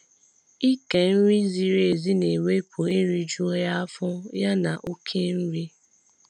ịke nri ziri ểzi na ewepụ erijughị afọ ya na okể nri